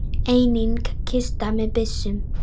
Einnig kista með byssum.